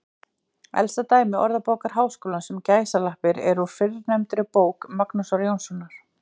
Elsta dæmi Orðabókar Háskólans um gæsalappir er úr fyrrnefndri bók Magnúsar Jónssonar.